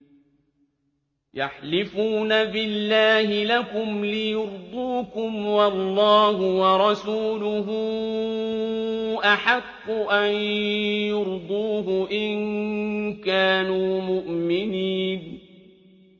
يَحْلِفُونَ بِاللَّهِ لَكُمْ لِيُرْضُوكُمْ وَاللَّهُ وَرَسُولُهُ أَحَقُّ أَن يُرْضُوهُ إِن كَانُوا مُؤْمِنِينَ